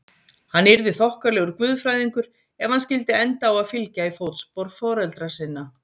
Hann yrði þokkalegur guðfræðingur ef hann skyldi enda á að fylgja í fótspor foreldra sinna.